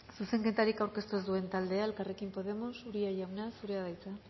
zuzenketarik aurkeztu ez duen taldea elkarrekin podemos uria jauna zurea da hitza